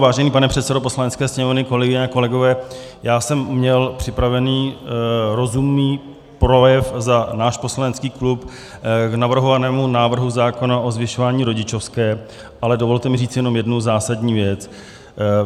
Vážený pane předsedo Poslanecké sněmovny, kolegyně a kolegové, já jsem měl připravený rozumný projev za náš poslanecký klub k navrhovanému návrhu zákona o zvyšování rodičovské, ale dovolte mi říct jenom jednu zásadní věc.